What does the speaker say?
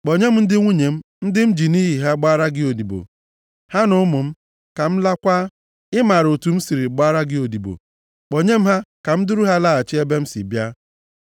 Kpọnye m ndị nwunye m, ndị m ji nʼihi ha gbara gị odibo, ha na ụmụ m, ka m lakwaa. Ị maara otu m siri gbaara gị odibo. Kpọnye m ha ka m duru ha laghachi ebe m si bịa.”